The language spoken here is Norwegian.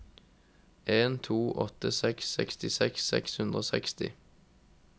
en to åtte seks sekstiseks seks hundre og seksti